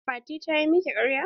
Fati ta yi miki ƙarya?